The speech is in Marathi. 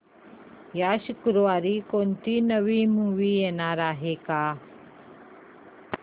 या शुक्रवारी कोणती नवी मूवी येणार आहे का